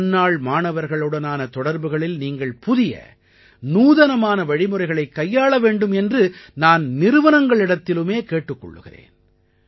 முன்னாள் மாணவர்களுடனான தொடர்புகளில் நீங்கள் புதிய நூதனமான வழிமுறைகளைக் கையாள வேண்டும் என்று நான் நிறுவனங்களிடத்திலும் கேட்டுக் கொள்கிறேன்